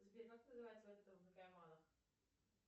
сбер как называется